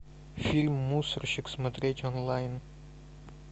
фильм мусорщик смотреть онлайн